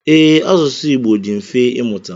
Ee, asụsụ Igbo dị mfe ịmụta.